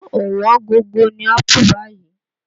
Ọ̀wọ́n gógó ni ápù báyìí